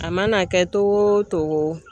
A mana kɛ togo o togo